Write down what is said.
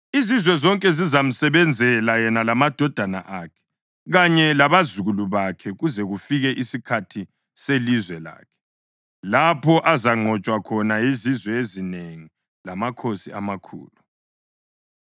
Izizwe zonke zizamsebenzela yena lamadodana akhe kanye labazukulu bakhe kuze kufike isikhathi selizwe lakhe lapho azanqotshwa khona yizizwe ezinengi lamakhosi amakhulu.